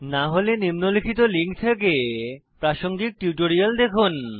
না হলে নিম্নলিখিত লিঙ্ক থেকে প্রাসঙ্গিক টিউটোরিয়াল দেখুন